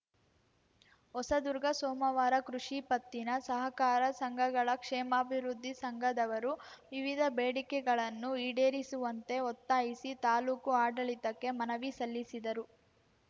ಹೊಸದುರ್ಗ ಸೋಮವಾರ ಕೃಷಿ ಪತ್ತಿನ ಸಹಕಾರ ಸಂಘಗಳ ಕ್ಷೇಮಾಭಿವೃದ್ಧಿ ಸಂಘದವರು ವಿವಿಧ ಬೇಡಿಕೆಗಳನ್ನು ಈಡೇರಿಸುವಂತ್ತೆ ಒತ್ತಾಯಿಸಿ ತಾಲೂಕು ಆಡಳಿತಕ್ಕೆ ಮನವಿ ಸಲ್ಲಿಸಿದರು